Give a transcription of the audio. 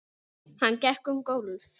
Hann gekk um gólf.